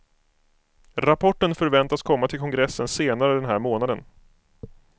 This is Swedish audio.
Rapporten förväntas komma till kongressen senare den här månaden.